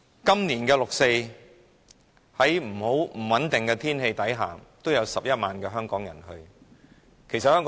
今年的六四集會在不穩定的天氣舉行下，仍有11萬名香港人出席。